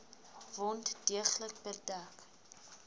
wond deeglik bedek